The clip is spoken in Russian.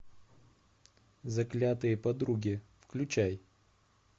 заклятые подруги включай